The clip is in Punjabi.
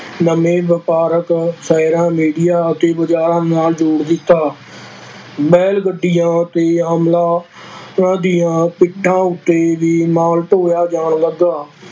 ਨਵੇਂ ਵਾਪਾਰਿਕ ਸ਼ਹਿਰਾਂ ਮੰਡੀਆਂ ਅਤੇ ਬਾਜ਼ਾਰਾਂ ਨਾਲ ਜੋੜ ਦਿੱਤਾ, ਬੈਲ ਗੱਡੀਆਂ ਅਤੇ ਦੀਆਂ ਪਿੰਡਾਂ ਉੱਤੇ ਵੀ ਮਾਲ ਢੋਇਆ ਜਾਣ ਲੱਗਾ,